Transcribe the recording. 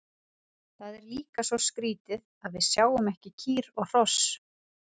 Það er líka svo skrítið að við sjáum ekki kýr og hross.